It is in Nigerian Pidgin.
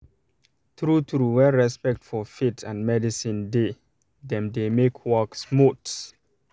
true true when respect for faith um and medicine de dem de make work smooth